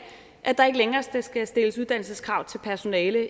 at der ikke længere skal stilles uddannelseskrav til personalet